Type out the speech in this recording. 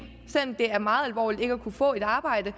selv om det er meget alvorligt ikke at kunne få et arbejde